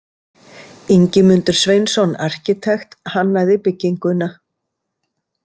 Ingimundur Sveinsson arkitekt hannaði bygginguna.